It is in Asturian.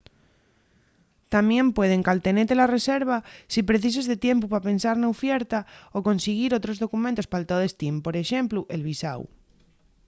tamién pueden caltenete la reserva si precises de tiempu pa pensar na ufierta o consiguir otros documentos pal to destín por exemplu el visáu